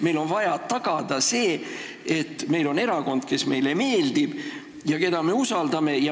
Meil on vaja tagada see, et meil on erakond, kes meile meeldib ja keda me usaldame.